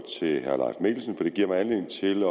det giver mig anledning til at